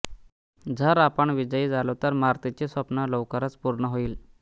जर आपण विजयी झालो तर मार्तीचे स्वप्न लवकरच पूर्ण होईल